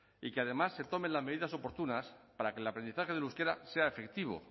y que además se tomen las medidas oportunas para que el aprendizaje del euskera sea efectivo